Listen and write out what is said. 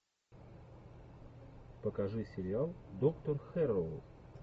покажи сериал доктор хэрроу